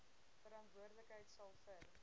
verantwoordelikheid sal vir